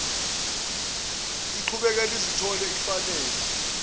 liqhubeke lizithole lifanele